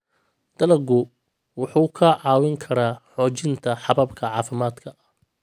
Dalaggu wuxuu kaa caawin karaa xoojinta hababka caafimaadka.